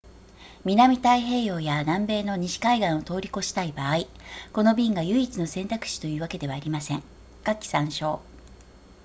南太平洋や南米の西海岸を通り越したい場合この便が唯一の選択肢というわけではありません下記参照